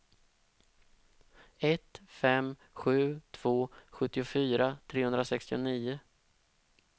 ett fem sju två sjuttiofyra trehundrasextionio